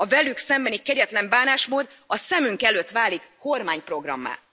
A velük szembeni kegyetlen bánásmód a szemünk előtt válik kormányprogrammá.